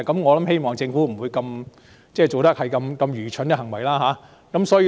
我希望政府不會做這麼愚蠢的行為。